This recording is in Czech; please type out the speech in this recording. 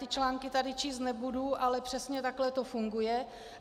Ty články tady číst nebudu, ale přesně takhle to funguje.